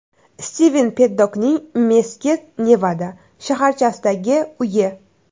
Stiven Peddokning Meskit (Nevada) shaharchasidagi uyi.